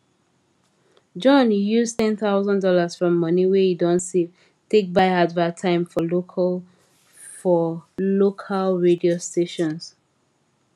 john use ten thousand dollars from money wey he don save take buy advert time for local for local radio stations